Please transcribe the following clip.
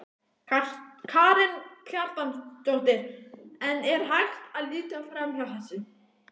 Karen Kjartansdóttir: En er hægt að líta framhjá þessu?